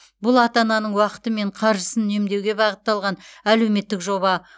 бұл ата ананың уақыты мен қаржысын үнемдеуге бағытталған әлеуметтік жоба